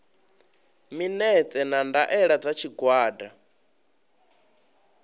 minetse na ndaela dza tshigwada